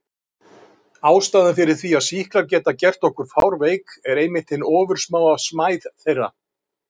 Ástæðan fyrir því að sýklar geta gert okkur fárveik er einmitt hin ofursmáa smæð þeirra.